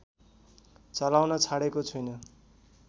चलाउन छाडेको छुइन